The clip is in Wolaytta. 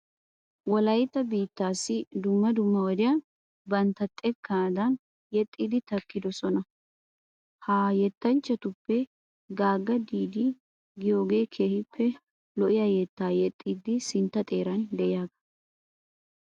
Wolaytta biittaassi dumma dumma wodiyan bantta xekkaadan yexxidi kanttidosona. Ha yettanchchatuppe Gaagga Diida giyogee keehippe lo'iya yettaa yexxidi sintta xeeran de'iyagaa.